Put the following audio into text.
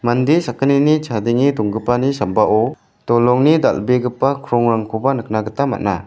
inde sakgnini chadenge donggipani sambao dolongni dal·begipa krongrangkoba nikna gita man·a.